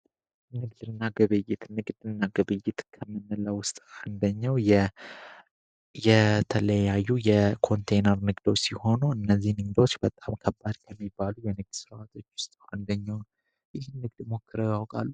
ንግድ እና ግብይት ንግድ እና ግብይት ከምንለው ውስጥ አንደኛው የተለያዩ የኮንቴነር ንግዶች ሲሆኑ እነዚህ ንግዶች በጣም ከባድ ከሚባሉ የንግድ ስራዎች ውስጥ አንደኛው ነው። ይህን ንግድ ሞክረው ያውቃሉ?